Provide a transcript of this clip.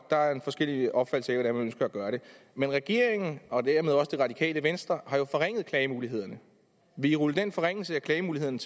der er forskellige opfattelser af hvordan man ønsker at gøre det men regeringen og dermed også det radikale venstre har jo forringet klagemulighederne vil i rulle den forringelse af klagemulighederne